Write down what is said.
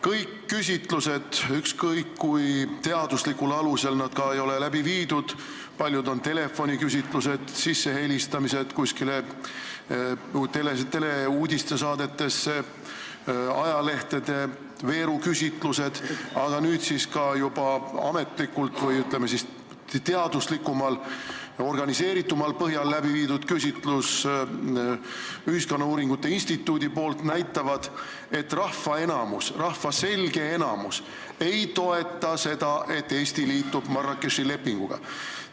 Kõik küsitlused, ükskõik kui teaduslikul alusel nad ka ei ole läbi viidud – paljud neist on telefoniküsitlused, helistamised kuskile teleuudiste saadetesse, ajalehtede veeruküsitlused –, aga ka juba ametlik või, ütleme siis, teaduslikumal, organiseeritumal põhjal läbi viidud Ühiskonnauuringute Instituudi küsitlus, näitavad, et rahva selge enamus ei toeta seda, et Eesti liitub Marrakechi lepinguga.